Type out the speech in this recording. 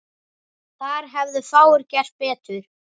Þar hefðu fáir gert betur.